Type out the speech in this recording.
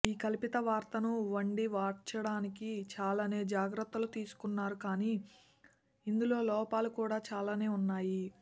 ఈ కల్పిత వార్తను వండి వార్చడానికి చాలానే జాగ్రత్తలు తీసుకున్నారు కానీ ఇందులో లోపాలు కూడా చాలానే ఉన్నాయి